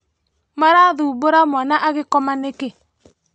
Mũrathumbũra mwana agĩkoma nĩkĩ?